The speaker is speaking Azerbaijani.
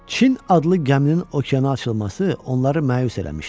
Çin adlı gəminin okeana açılması onları məyus eləmişdi.